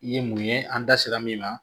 I ye mun ye an da sera min ma